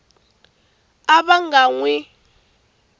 a va nga n wi